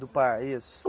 Do Par, isso.